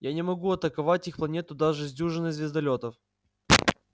я не могу атаковать их планету даже с дюжиной звездолётов